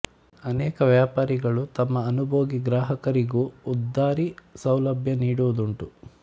ಅನೇಕ ವ್ಯಾಪಾರಿಗಳು ತಮ್ಮ ಅನುಭೋಗಿ ಗ್ರಾಹಕರಿಗೂ ಉದ್ದರಿ ಸೌಲಭ್ಯ ನೀಡುವು ದುಂಟು